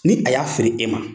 Ni a y'a feere e ma